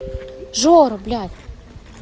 жора блять